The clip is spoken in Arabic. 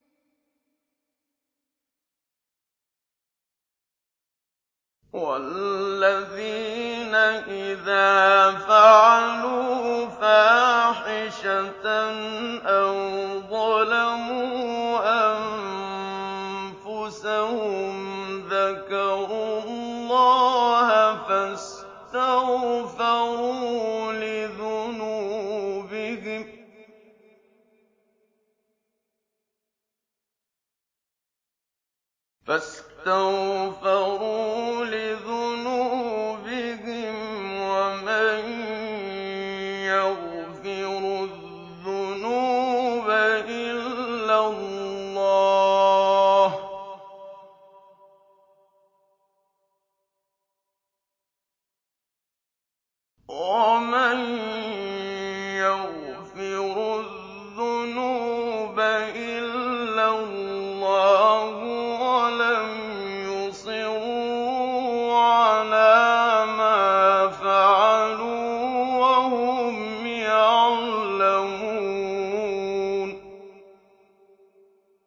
وَالَّذِينَ إِذَا فَعَلُوا فَاحِشَةً أَوْ ظَلَمُوا أَنفُسَهُمْ ذَكَرُوا اللَّهَ فَاسْتَغْفَرُوا لِذُنُوبِهِمْ وَمَن يَغْفِرُ الذُّنُوبَ إِلَّا اللَّهُ وَلَمْ يُصِرُّوا عَلَىٰ مَا فَعَلُوا وَهُمْ يَعْلَمُونَ